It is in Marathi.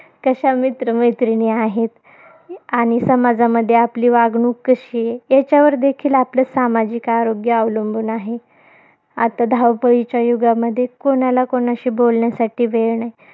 कशा मित्रमैत्रिणी आहेत, आणि समाजामध्ये आपली वागणूक कशी आहे. याच्यावर देखील आपलं सामाजिक आरोग्य अवलंबून आहे. आता धावपळीच्या युगामध्ये कोणाला कोणाशी बोलण्यासाठी वेळ नाही.